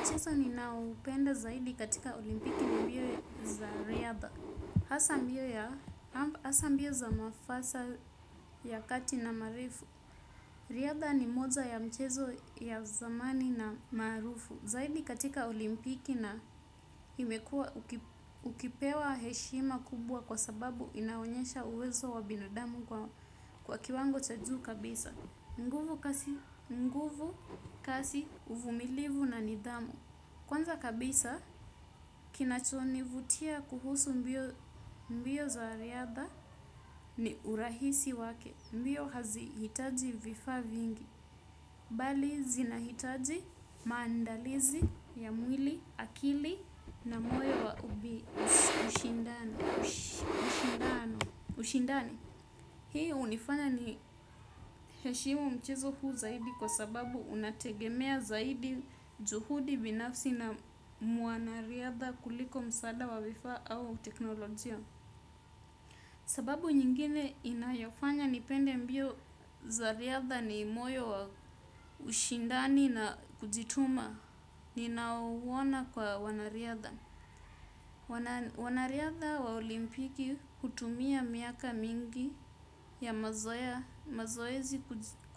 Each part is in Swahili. Mchezo ninaoupenda zaidi katika olimpiki ni mbio za riadha. Hasa mbio za mafasa ya kati na marefu. Riadha ni moja ya michezo ya zamani na maarufu. Zaidi katika olimpiki na imekuwa ukipewa heshima kubwa kwa sababu inaonyesha uwezo wa binadamu kwa kiwango cha juu kabisa. Nguvu, kasi, uvumilivu na nidhamu. Kwanza kabisa kinachonivutia kuhusu mbio za riadha ni urahisi wake. Mbio hazihitaji vifaa vingi, bali zinahitaji maandalizi ya mwili, akili na moyo wa ushindani. Ushindani. Hii hunifanya niheshimu mchezo huu zaidi kwa sababu unategemea zaidi juhudi binafsi na mwanariadha kuliko msaada wa vifaa au teknolojia. Sababu nyingine inayofanya nipende mbio za riadha ni moyo wa ushindani na kujituma. Ninauona kwa wanariadha. Wanariadha wa olimpiki hutumia miaka mingi ya mazoezi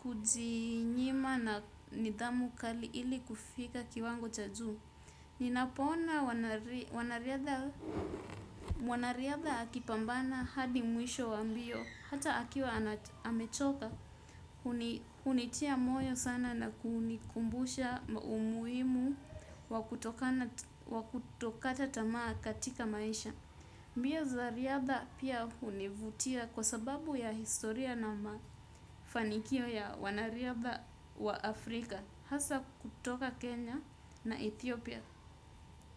kujinyima na nidhamu kali ili kufika kiwango cha juu. Ninapoona mwanariadha akipambana hadi mwisho wa mbio hata akiwa amechoka hunitia moyo sana na kunikumbusha umuhimu wa kutokata tamaa katika maisha. Mbio za riadha pia hunivutia kwa sababu ya historia na mafanikio ya wanariadha wa Afrika hasa kutoka Kenya na Ethiopia.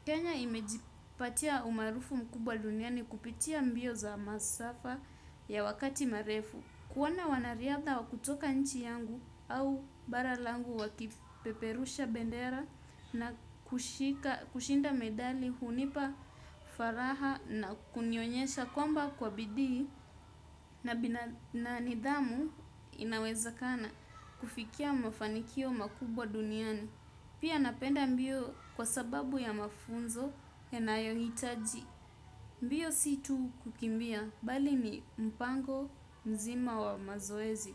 Kenya imejipatia umaarufu mkubwa duniani kupitia mbio za masafa ya wakati marefu. Kuona wanariadha wa kutoka nchi yangu au bara langu wakipeperusha bendera na kushinda medali hunipa furaha na kunionyesha kwamba kwa bidii na nidhamu inawezekana kufikia mafanikio makubwa duniani. Pia napenda mbio kwa sababu ya mafunzo yanayohitaji. Mbio si tu kukimbia, bali ni mpango mzima wa mazoezi.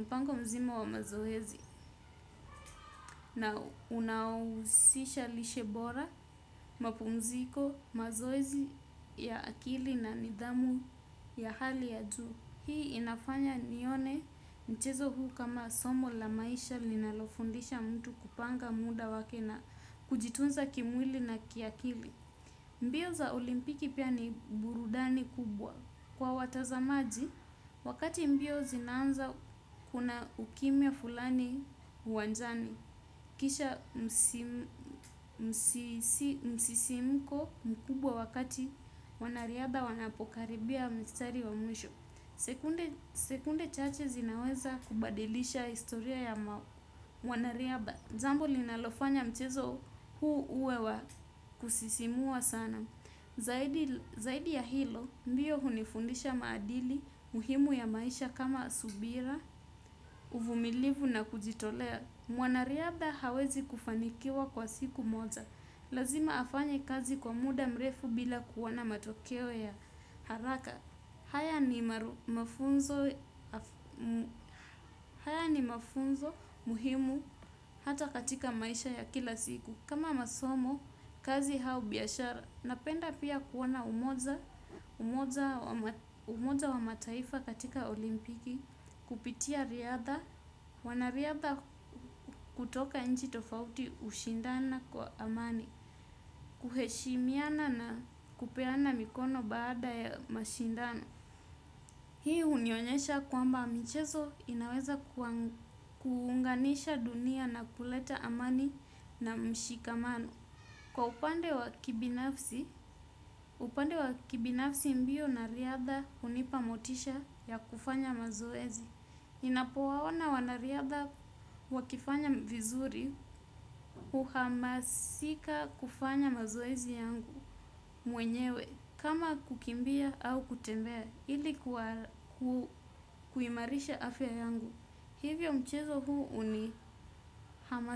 Mpango mzima wa mazoezi. Na unahusisha lishe bora, mapumziko, mazoezi ya akili na nidhamu ya hali ya juu. Hii inafanya nione mchezo huu kama somo la maisha linalofundisha mtu kupanga muda wake na kujitunza kimwili na kiakili. Mbio za olimpiki pia ni burudani kubwa kwa watazamaji. Wakati mbio zinaanza kuna ukimya fulani uwanjani. Kisha msisimko mkubwa wakati wanariaba wanapokaribia mstari wa mwisho. Sekunde chache zinaweza kubadilisha historia ya mwanariadha. Jambo linalofanya mchezo huu uwe wa kusisimua sana. Zaidi ya hilo, mbio hunifundisha maadili muhimu ya maisha kama subira, uvumilivu na kujitolea. Mwanariadha hawezi kufanikiwa kwa siku moja. Lazima afanye kazi kwa muda mrefu bila kuona matokeo ya haraka. Haya ni mafunzo muhimu hata katika maisha ya kila siku. Kama masomo, kazi au biashara. Napenda pia kuona umoja wa mataifa katika olimpiki. Kupitia riadha. Wanariadha kutoka nchi tofauti hushindana kwa amani. Kuheshimiana na kupeana mikono baada ya mashindano. Hii hunionyesha kwamba michezo inaweza kuunganisha dunia na kuleta amani na mshikamano. Kwa upande wa kibinafsi, upande wa kibinafsi mbio na riadha hunipa motisha ya kufanya mazoezi. Ninapowaona wanariadha wakifanya vizuri huhamasika kufanya mazoezi yangu mwenyewe. Kama kukimbia au kutembea ili kuwa kuimarisha afya yangu. Hivyo mchezo huu unihama.